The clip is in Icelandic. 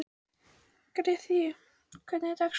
Grethe, hvernig er dagskráin?